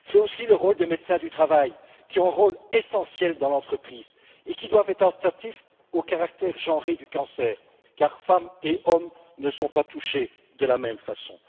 C'est aussi le rôle des médecins du travail, qui ont un rôle essentiel dans l'entreprise et qui doivent être attentifs au caractère genré du cancer, car femmes et hommes ne sont pas touchés de la même façon.